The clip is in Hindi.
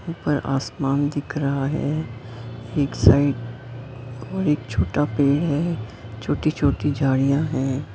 ऊपर आसमान दिख रहा है एक साइड और एक छोटा पेड़ है छोटी-छोटी झाड़ियां हैं।